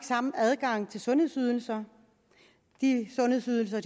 samme adgang til sundhedsydelser de sundhedsydelser